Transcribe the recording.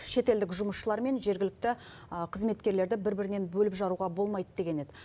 шет елдік жұмысшылар мен жергілікті қызметкерлерді бір бірінен бөліп жаруға болмайды деген еді